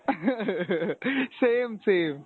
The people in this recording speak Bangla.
loughing same same.